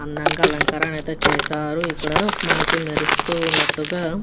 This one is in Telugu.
అండగా అలకరణ అయతె చేసారు ఇక్కడ మనకి మెరుస్తూ వున్నట్టుగా --